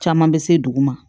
Caman bɛ se dugu ma